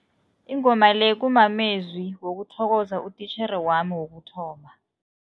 Ingoma le kumamezwi wokuthokoza utitjhere wami wokuthoma.